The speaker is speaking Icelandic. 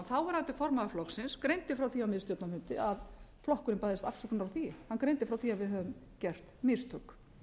þáverandi formaður flokksins greindi frá því á miðstjórnarfundi að flokkurinn bæðist afsökunar á því hann greindi frá því að við hefðum gert mistök